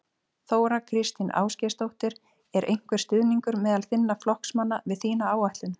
Þóra Kristín Ásgeirsdóttir: Er einhver stuðningur meðal þinna flokksmanna við þína áætlun?